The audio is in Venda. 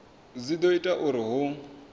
dzi do ita uri hu